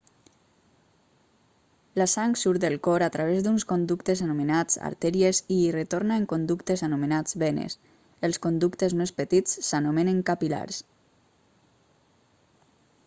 la sang surt del cor a través d'uns conductes anomenats artèries i hi retorna en conductes anomenats venes els conductes més petits s'anomenen capil·lars